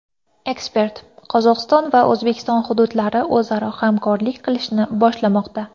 Ekspert: Qozog‘iston va O‘zbekiston hududlari o‘zaro hamkorlik qilishni boshlamoqda.